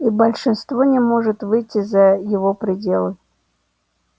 и большинство не может выйти за его пределы